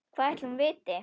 Hvað ætli hún viti?